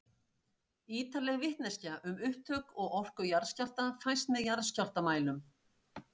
Ýtarleg vitneskja um upptök og orku jarðskjálfta fæst með jarðskjálftamælum.